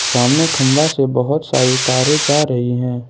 सामने खंबा से बहुत सारी तारे जा रही हैं।